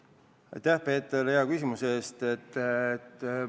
Aitäh, Peeter, hea küsimuse eest!